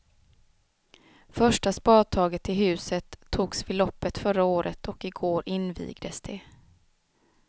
Första spadtaget till huset togs vid loppet förra året och i går invigdes det.